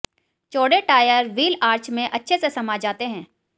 चौड़े tyre wheel arch में अच्छे से समा जाते हैं